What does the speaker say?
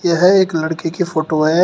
यह एक लड़के की फोटो है।